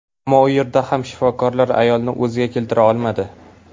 Ammo u yerda ham shifokorlar ayolni o‘ziga keltira olmadi.